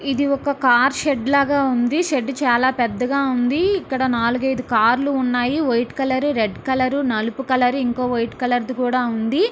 ఇది ఒక car shed లాగా ఉన్నది. షెడ్ చాలా పెద్దగా ఉంది. ఇక్కడ నాలుగు ఐదు కార్ లు ఉన్నాయి. వైట్ కలర్ రెడ్ కలర్ నల్లపు కలర్ ఇంకో వైట్ కలర్ కూడా ఉన్నది.